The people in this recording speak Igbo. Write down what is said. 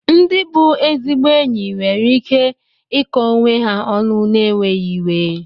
Ndị bụ ezigbo enyi nwere ike iko onwe ha ọnụ n'enweghị iwe.